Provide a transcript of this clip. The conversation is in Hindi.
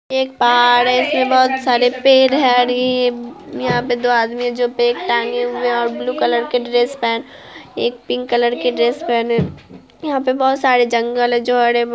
आ यहाँ पे बहुत सारे पेड़ हैं और यहाँ पे दो आदमी है जो बेग टाँगे हुए हैं जो ब्लू कलर के ड्रेस पहने एक पिंक कलर के ड्रेस पेहने यहाँ पे बहुत सारे जंगल है जो हरे-भरे हैं।